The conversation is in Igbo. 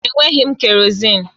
Enweghị m kerọzin